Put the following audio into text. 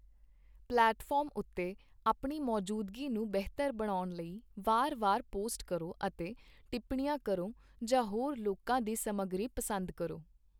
Platform ਉੱਤੇ ਆਪਣੀ ਮੌਜੂਦਗੀ ਨੂੰ ਬਿਹਤਰ ਬਣਾਉਣ ਲਈ ਵਾਰ ਵਾਰ ਪੋਸਟ ਕਰੋ ਅਤੇ ਟਿੱਪਣੀਆਂ ਕਰੋ ਜਾਂ ਹੋਰ ਲੋਕਾਂ ਦੀ ਸਮੱਗਰੀ ਪਸੰਦ ਕਰੋ।